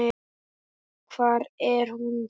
Hvar er hún þá?